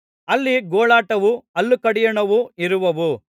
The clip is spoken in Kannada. ಅಲ್ಲಿ ಗೋಳಾಟವೂ ಹಲ್ಲು ಕಡಿಯೋಣವೂ ಇರುವವು